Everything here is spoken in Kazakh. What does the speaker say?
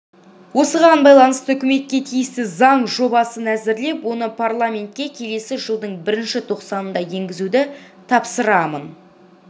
осыған байланысты үкіметке тиісті заң жобасын әзірлеп оны парламентке келесі жылдың бірінші тоқсанында енгізуді тапсырамын